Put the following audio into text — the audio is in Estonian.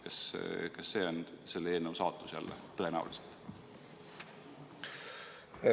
Kas see on jälle tõenäoliselt selle eelnõu saatus?